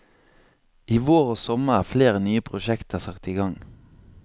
I vår og sommer er flere nye prosjekter satt i gang.